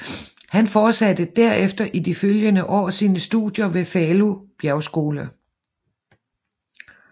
Han fortsatte derefter i de følgende år sine studier ved Falu Bjergskole